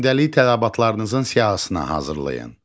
Gündəlik tələbatlarınızın siyahısına hazırlayın.